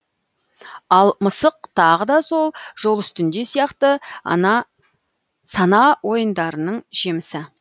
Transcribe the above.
ал мысық тағы да сол жол үстінде сияқты сана ойындарының жемісі